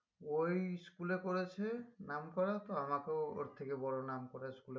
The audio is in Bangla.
ওই school এ পড়েছে নামকরা তো আমাকেও ওর থেকে বড় নামকরা school এ